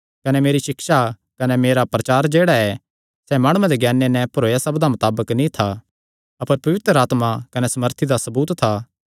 कने मेरी सिक्षा कने मेरा प्रचार जेह्ड़ा ऐ सैह़ माणुआं दे ज्ञाने नैं भरोयो सब्दां मताबक नीं था अपर पवित्र आत्मा कने सामर्थी दा सबूत था